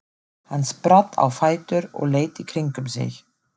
Hann spratt á fætur og leit í kringum sig.